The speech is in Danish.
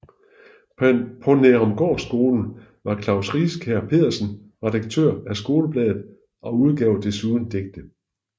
På Nærumgårdskolen var Klaus Riskær Pedersen redaktør af skolebladet og udgav desuden digte